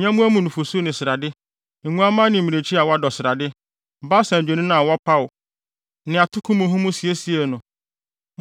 nyɛmmoa mu nufusu ne srade, nguamma ne mmirekyi a wɔadɔ srade, Basan adwennini a wɔpaw ne atoko muhumuhu siesiee no.